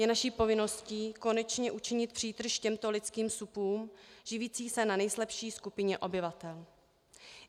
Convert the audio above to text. Je naší povinností konečně utržit přítrž těmto lidským supům živícím se na nejslabší skupině obyvatel.